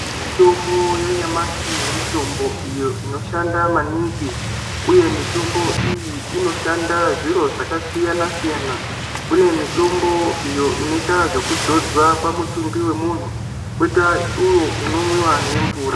Mitombo yanyamashi ,mitombo iyo inoshanda maningi, uye mitombo iyi inoshanda zviro zvakasiyana siyana, kunemitombo iyo inoita zvekudzodzwa pamutumbi wemunhu, koita iwo unonwiwa nemvura.